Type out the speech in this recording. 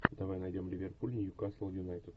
давай найдем ливерпуль ньюкасл юнайтед